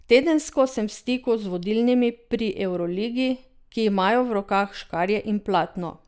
Tedensko sem v stiku z vodilnimi pri evroligi, ki imajo v rokah škarje in platno.